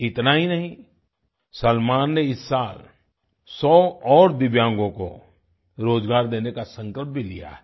इतना ही नहीं सलमान ने इस साल 100 और दिव्यांगो को रोजगार देने का संकल्प भी लिया है